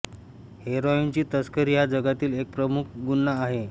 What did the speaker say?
हेरॉईनची तस्करी हा जगातील एक प्रमुख गुन्हा आहे